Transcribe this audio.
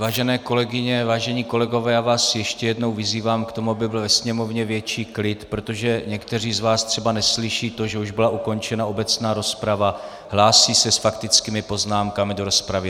Vážené kolegyně, vážení kolegové, já vás ještě jednou vyzývám k tomu, aby byl ve sněmovně větší klid, protože někteří z vás třeba neslyší to, že už byla ukončena obecná rozprava, hlásí se s faktickými poznámkami do rozpravy.